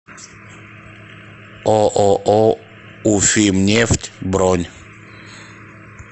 ооо уфимнефть бронь